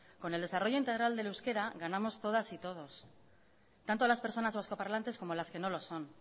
con el desarrollo integral del euskara ganamos todas y todos tanto las personas vascoparlantes como las que no lo son